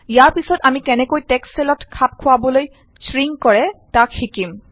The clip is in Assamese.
ইয়াৰ পিছত আমি কেনেকৈ টেক্সট চেলত খাপ খোৱাবলৈ শ্ৰিংক কৰে তাক শিকিম